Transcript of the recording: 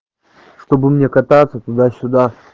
чтобы мне кататься туда-сюда